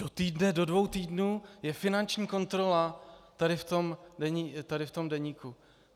Do týdne, do dvou týdnů je finanční kontrola tady v tom deníku.